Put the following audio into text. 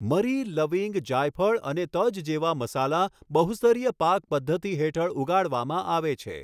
મરી, લવિંગ, જાયફળ અને તજ જેવા મસાલા બહુ સ્તરીય પાક તે પદ્ધતિ હેઠળ ઉગાડવામાં આવે છે.